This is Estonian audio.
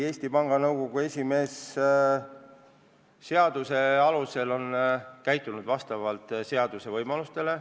Eesti Panga Nõukogu esimees on käitunud seaduse alusel, vastavalt seaduse võimalustele.